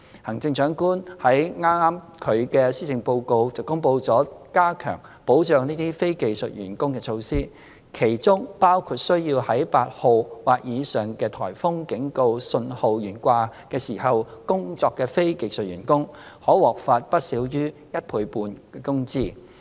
行政長官剛於她的施政報告公布了加強保障這些非技術員工的措施，其中包括需要在8號或以上颱風警告信號懸掛時工作的非技術員工，可獲發不少於一倍半工資。